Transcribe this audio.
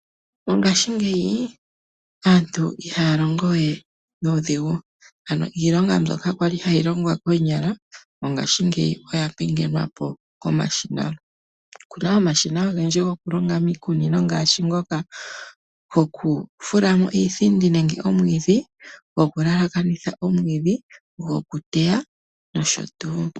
Mongaashingeyi aantu ihaya longo we nuudhigu, ano iilonga mbyoka kwali hayi longwa koonyala mongashingeyi oya pingenwa po komashina. Opu na omashina ogendji gokulonga miikunino ngaashi ngoka gokufulamo iithindi nenge omwiidhi, gokulaakanitha omwiidhi gokuteya nosho tuu.